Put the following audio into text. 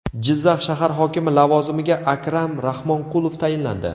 Jizzax shahar hokimi lavozimiga Akram Rahmonqulov tayinlandi.